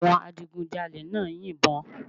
Àwọn adigunjalè náà ń yìnbọn